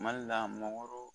Mali la mɔgɔrɔ